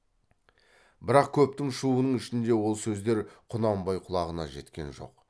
бірақ көптің шуының ішінде ол сөздер құнанбай құлағына жеткен жоқ